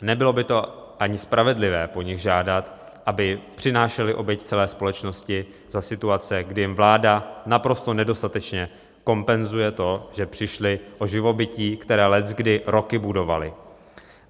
Nebylo by to ani spravedlivé po nich žádat, aby přinášeli oběť celé společnosti za situace, kdy jim vláda naprosto nedostatečně kompenzuje to, že přišli o živobytí, které leckdy roky budovali.